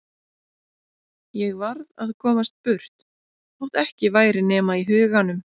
Ég varð að komast burt þótt ekki væri nema í huganum.